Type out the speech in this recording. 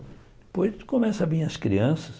Depois começam a vir as crianças.